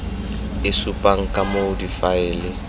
e supang ka moo difaele